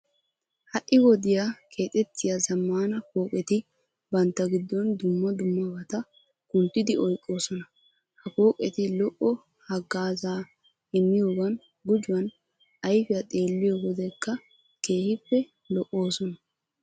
Ha"i wodiyan keexettiya zammaana pooqeti bantta giddon dumma dummabata kunttidi oyqqoosona. Ha pooqeti lo"o haggaazaa immiyogaappe gujuwan ayfiyan xeelliyo wodekka keehippe lo"oosona.